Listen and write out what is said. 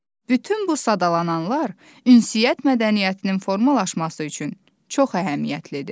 Bütün bu sadalananlar ünsiyyət mədəniyyətinin formalaşması üçün çox əhəmiyyətlidir.